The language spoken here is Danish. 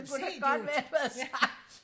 det kunne da godt være du havde sagt